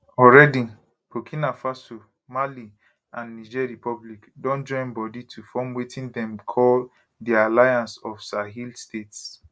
already burkina faso mali and niger republic don join body to form wetin dem call di alliance of sahel states